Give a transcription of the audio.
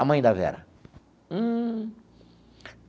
A mãe da Vera. Hum.